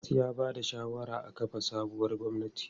Dalhatu ya ba da shawarar a kafa sabuwar gwamnati.